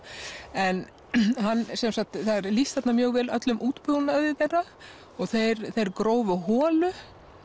en það er lýst þarna mjög vel öllum útbúnaði þeirra og þeir þeir grófu holu